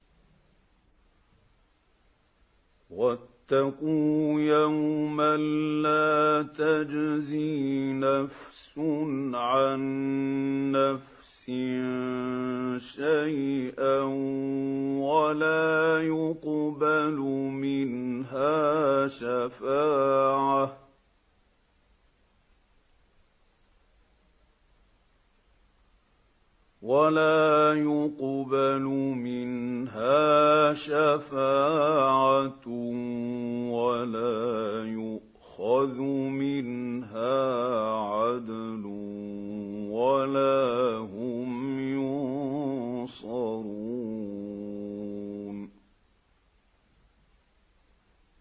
وَاتَّقُوا يَوْمًا لَّا تَجْزِي نَفْسٌ عَن نَّفْسٍ شَيْئًا وَلَا يُقْبَلُ مِنْهَا شَفَاعَةٌ وَلَا يُؤْخَذُ مِنْهَا عَدْلٌ وَلَا هُمْ يُنصَرُونَ